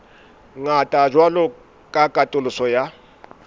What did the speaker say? ngata jwalo ka katoloso ya